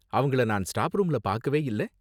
அவங்கள நான் ஸ்டாப் ரூம்ல பாக்கவே இல்ல.